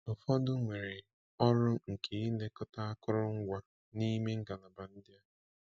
Ụfọdụ nwere ọrụ nke ilekọta akụrụngwa n’ime ngalaba ndị a.